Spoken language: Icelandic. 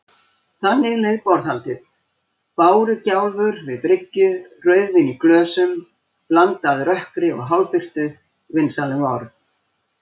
Þannig leið borðhaldið: bárugjálfur við bryggju, rauðvín í glösum, blandað rökkri og hálfbirtu, vinsamleg orð.